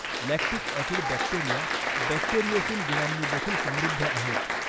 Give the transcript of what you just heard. Lactic acid bacteria bacteriocin गुणांनी देखील समृद्ध आहेत.